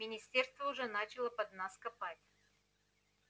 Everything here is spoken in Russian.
министерство уже начало под нас копать